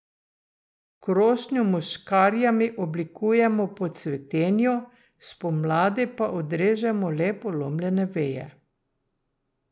Krošnjo mu s škarjami oblikujemo po cvetenju, spomladi pa odrežemo le polomljene veje.